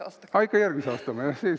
See on ikka järgmise aasta kalender.